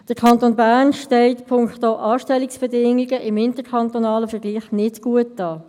Der Kanton Bern steht punkto Anstellungsbedingungen im interkantonalen Vergleich nicht gut da.